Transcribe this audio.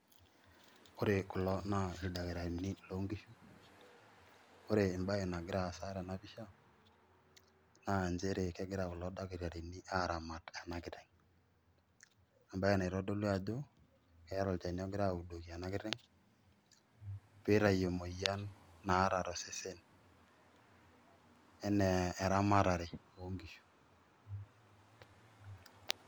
Oore kulo naa ildaktarini lonkishu, oore embaye nagir aasa tena pisha naa inchere kulo dakitarini aramat eena kiteng. Embaye naitodolu aajo keetaa olchani ogirae audoki eena kiteng' peitau emueyian naata tosesen enaa eramatare onkishu.